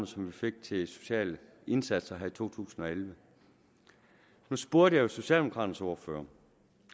som vi fik til sociale indsatser i to tusind og elleve nu spurgte jeg jo socialdemokraternes ordfører